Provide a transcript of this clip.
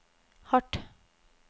hardt